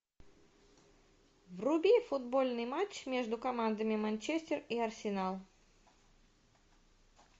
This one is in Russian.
вруби футбольный матч между командами манчестер и арсенал